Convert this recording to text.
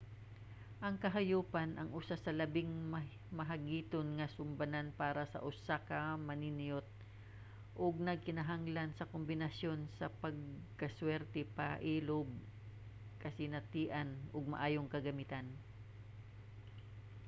ang kahayupan ang usa sa labing mahagiton nga sumbanan para sa usa ka maniniyot ug nagkinahanglan sa kombinasyon sa pagkaswerte pailob kasinatian ug maayong kagamitan